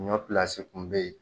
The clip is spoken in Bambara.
Ɲɔ kun be yen